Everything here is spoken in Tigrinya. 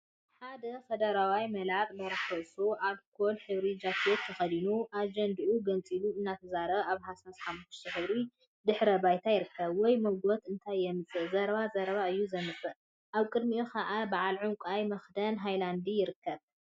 ሓደ ከደረዋይ መላጥ/በራሕ ርእሱ አልኮል ሕብሪ ጃኬት ተከዲኑ አጀንድኡ ገንፂሉ እናተዛረበ አብ ሃሳስ ሓመኩሽታይ ሕብሪ ድሕረ ባይታ ይርከብ፡፡ ወይ ሞጎት እንታይ የምፅእ ዘረባ ዘረባ እዩ ዘምፅእ፡፡ አብ ቅድሚኡ ከዓ በዓል ዕንቋይ መክደን ሃይላንዲ ይርከብ፡፡